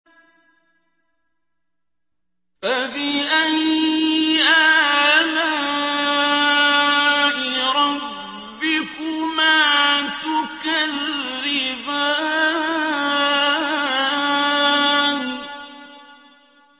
فَبِأَيِّ آلَاءِ رَبِّكُمَا تُكَذِّبَانِ